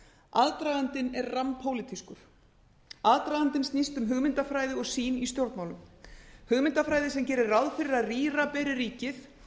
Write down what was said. aðdragandinn er rammpólitískur aðdragandinn snýst um hugmyndafræði og sýn í stjórnmálum hugmyndafræði sem gerir ráð fyrir að rýra beri ríkið